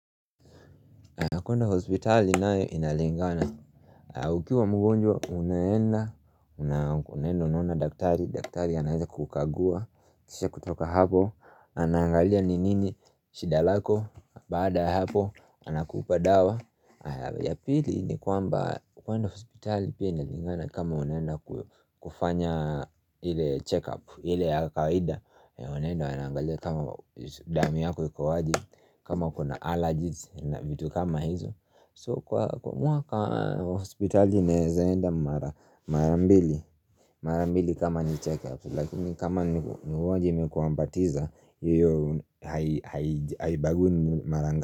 Kwenda hospitali nae inalingana Ukiwa mgonjwa unaenda, unaenda unaona daktari daktari anaweza kukukagua kisha kutoka hapo Anaangalia ni nini shida lako, baada ya hapo anakupa dawa ya pili ni kwamba, kwenda hospitali pia inalingana kama unaenda kufanya ile check up ile ya kawaida wanaenda wanangalia kama damu yako ikoje kama uko na allergies na vitu kama hizo, so kwa kwa mwaka hospitali naweza kwenda marambili, marambili kama ni check-up Lakini kama ni ugonjwa umekuambukiza hiyo haibagui ni marangapi.